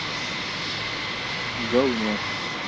гавно